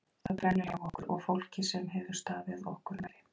Það brennur hjá okkur og fólki sem hefur staðið okkur nærri.